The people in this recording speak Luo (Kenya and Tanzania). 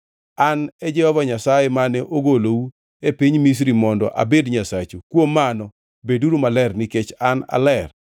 An e Jehova Nyasaye mane ogolou e piny Misri mondo abed Nyasachu, kuom mano beduru maler nikech an aler.